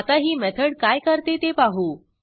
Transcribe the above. आता ही मेथड काय करते ते पाहू